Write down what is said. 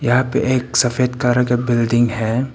यहां पे एक सफेद कलर का बिल्डिंग है।